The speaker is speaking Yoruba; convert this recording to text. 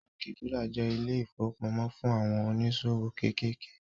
Báànkì kuda jẹ́ ilé ìfowópamó fún àwọn oníṣòwò kéékèèké